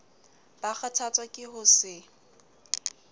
ba kgathatswa ke ho se